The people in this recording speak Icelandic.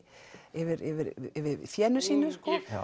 yfir yfir fénu sínu